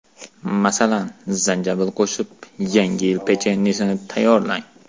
Masalan, zanjabil qo‘shib, Yangi yil pechenyesini tayyorlang.